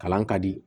Kalan ka di